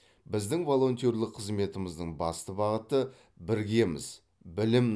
біздің волонтерлік қызметіміздің басты бағыты біргеміз білім